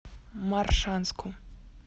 моршанску